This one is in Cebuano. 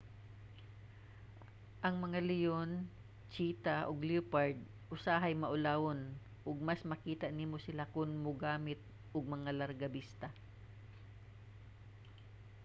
ang mga leon cheetah ug leopard usahay maulawon ug mas makita nimo sila kon mogamit og mga largabista